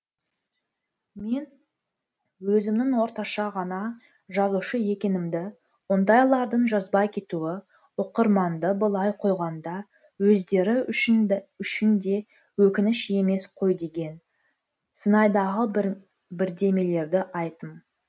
мен өзімнің орташа ғана жазушы екенімді ондайлардың жазбай кетуі оқырманды былай қойғанда өздері үшін де өкініш емес қой деген сыңайдағы бірдемелерді айттым